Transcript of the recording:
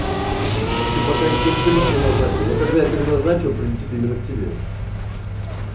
ещё пока ещё ничего не переназначил но когда я переназначу он прилетит именно к тебе